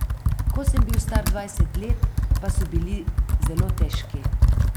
Ko sem bil star dvajset let, pa so bili zelo težki.